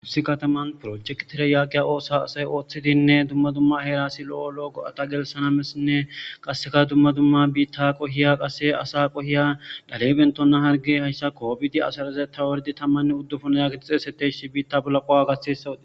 tussi kataman projektire yaaqiya oosa asay ooththidinne dumma dumma heerasi lo7o lo7o go7ata gelsana mesinne qasseka dumma dumma biitta qohiya qasse asa qohiya dhalebentonna harge hayssa koobidi asaraze tawardi tammanne uddufuna yaakii xeeseteshi biitta bala qowa gaessawoti